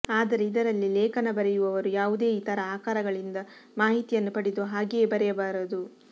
ಆದರೆ ಇದರಲ್ಲಿ ಲೇಖನ ಬರೆಯುವವರು ಯಾವುದೇ ಇತರ ಆಕರಗಳಿಂದ ಮಾಹಿತಿಯನ್ನು ಪಡೆದು ಹಾಗೆಯೇ ಬರೆಯಬಾರದು